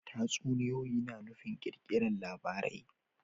Tatsuniya na nufin kirkirar labarai